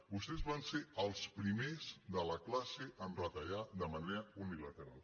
vostès van ser els primers de la classe a retallar de manera unilateral